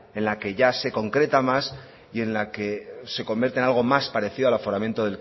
en la que ya se concreta más y en la que se convierte en algo más parecido al aforamiento